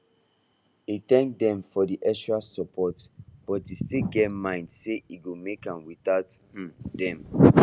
e thank them for the extra support but e still get mind say e go make am without um dem